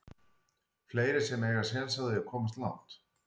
Fleiri sem að eiga séns á því að komast langt?